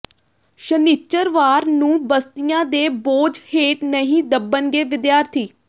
ਸ਼ਨਿਚਰਵਾਰ ਨੂੰ ਬਸਤਿਆਂ ਦੇ ਬੋਝ ਹੇਠ ਨਹੀਂ ਦਬਣਗੇ ਵਿਦਿਆਰਥੀ